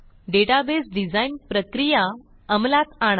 database design प्रक्रिया अंमलात आणा